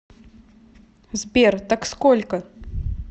сбер так сколько